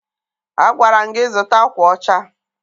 Agwara m gị zụta akwa ọcha!